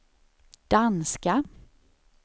danska